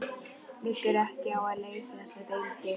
Liggur ekki á að leysa þessa deilu?